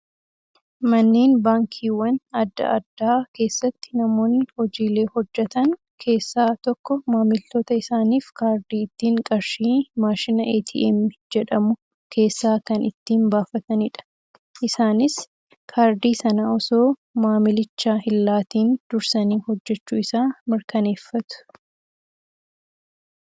Manneen baankiiwwan adda addaa keessatti namoonni hojiilee hojjatan keessaa tokko maamiltoota isaaniif kaardii ittiin qarshii maashina "ATM" jedhamu keessaa kan ittiin baafatanidha. Isaanis kaardii sana osoo maamilichaa hin laatiin dursanii hojjachuu isaa mirkaneeffatu.